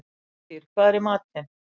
Úlftýr, hvað er í matinn?